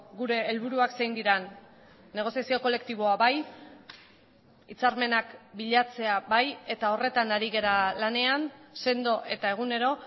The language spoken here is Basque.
gure helburuak zein diren negoziazio kolektiboa bai hitzarmenak bilatzea bai eta horretan ari gara lanean sendo eta egunero